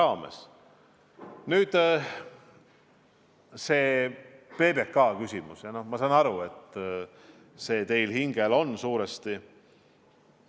Mis puutub küsimusse PBK kohta, siis ma saan aru, et see on teil suuresti hinge peal.